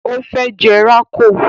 O fẹ́ jẹ rákò